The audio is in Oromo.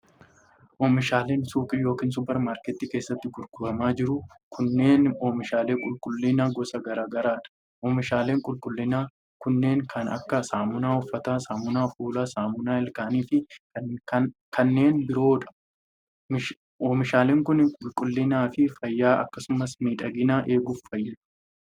Oomishaaleen suuqii yokin 'suppar-maarketii' keessatti gurguramaa jiran kunneen oomishaalee qulqullinaa gosa garaa garaa dha. Oomishaaleen qulqullinaa kunneen kan akka: saamunaa uffataa, saamunaa fuulaa, saamuna ilkaanii fi kanneen biroo dha. Meeshaaleen kun qulqullina fi fayyaa akkasumas miidhagina eeguuf fayyadu.